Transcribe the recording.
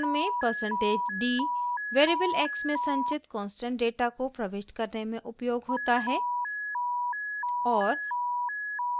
उपरोक्त उदाहरण में percentage d %d variable x में संचित कांस्टेंट डेटा को प्रविष्ट करने में उपयोग होता है और